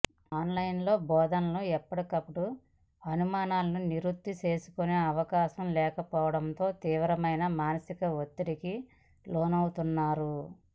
online బోధనలో ఎప్పటికప్పుడు అనుమానాలను నివృత్తి చేసుకునే అవకాశం లేకపోవడంతో తీవ్రమైన మానసిక ఒత్తిడికి లోనవుతున్నారు